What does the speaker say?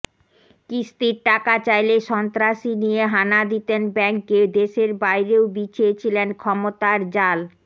কিস্তির টাকা চাইলে সন্ত্রাসী নিয়ে হানা দিতেন ব্যাংকে দেশের বাইরেও বিছিয়ে ছিলেন ক্ষমতার জাল